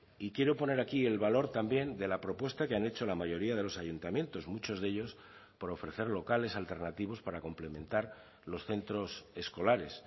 y quiero poner aquí el valor también de la propuesta que han hecho la mayoría de los ayuntamientos muchos de ellos por ofrecer locales alternativos para complementar los centros escolares